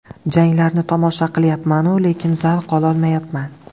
Janglarni tomosha qilyapman-u, lekin zavq olmayapman.